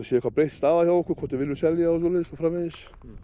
sé eitthvað breytt staða hjá okkur hvort við viljum selja og svo framvegis